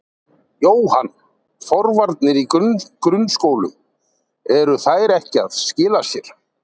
Jóhann: Forvarnir í grunnskólum, eru þær ekki að skila sér?